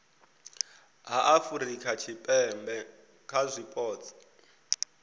ha afurika tshipembe kha zwipotso